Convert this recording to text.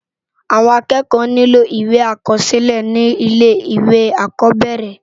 Awòn ákèékò nilò iwé ákòsilè ni ilé iwé ákòbèrè